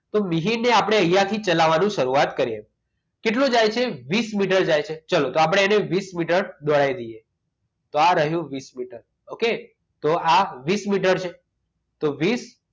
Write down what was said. તો મિહિરને આપણે અહીંયા થી ચલાવવાનું શરૂઆત કરીએ કેટલો જાય છે વીસ મીટર જાય છે ચલો તો આપણે એને વીસ મીટર દોડાવી દઈએ તો આ રહ્યું વીસ મીટર okay તો આ વીસ મીટર છે તો વીસ